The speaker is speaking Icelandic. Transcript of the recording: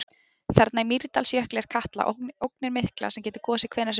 Þarna í Mýrdalsjökli er Katla, ógnin mikla sem getur gosið hvenær sem er.